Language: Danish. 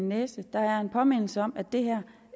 næse der er en påmindelse om at det her